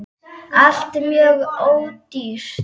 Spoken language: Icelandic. ALLT MJÖG ÓDÝRT!